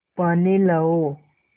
पानी लाओ